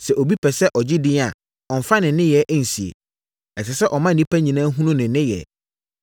Sɛ obi pɛ sɛ ɔgye edin a, ɔmmfa ne nneyɛeɛ nsie. Ɛsɛ sɛ ɔma nnipa nyinaa hunu ne nneyɛeɛ.”